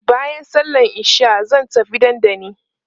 baƴan sallan isha zan tafi Dandanli